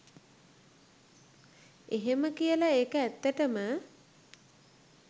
එහෙම කියලා ඒක ඇත්තටම